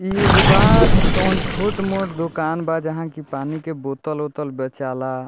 इ एगो बा तवन छोट-मोट दुकान बा जहाँ की पानी के बोत्तल उत्तल बेचाला।